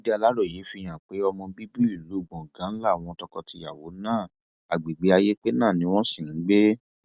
ìwádìí aláròye fìhàn pe ọmọ bíbí ìlú gbọngàn láwọn tọkọtìyàwó náà agbègbè ayépé náà ni wọn sì ń gbé